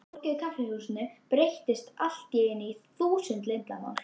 Fólkið í kaffihúsinu breyttist allt í einu í þúsund leyndarmál.